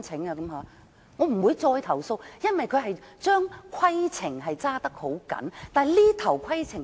我不會再投訴，因為懲教署嚴格執行規定。